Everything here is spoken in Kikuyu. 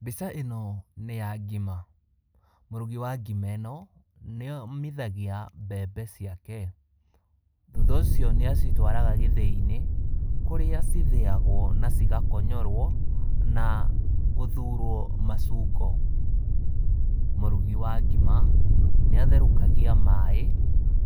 Mbica ĩno nĩ ya ngima, mũrugi wa ngima ĩno, nĩ omithagia mbembe ciake, thutha ũcio nĩ acitwaraga gĩthĩ-inĩ, kũrĩa cithĩyagwo na cigakonyorwo na gũthurwo macungo, mũrugi wa ngima, nĩ atherokagia maaĩ,